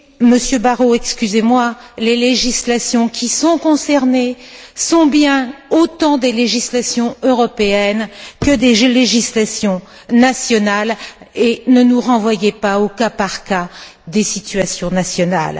Monsieur Barrot, excusez moi, les législations qui sont concernées sont bien autant des législations européennes que des législations nationales, et ne nous renvoyez pas au cas par cas des situations nationales.